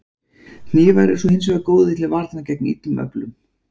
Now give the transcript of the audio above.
Hnífar eru svo hins vegar góðir til varnar gegn illum öflum.